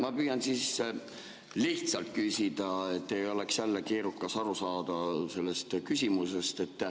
Ma püüan siis lihtsalt küsida, et ei oleks jälle keerukas aru saada sellest küsimusest.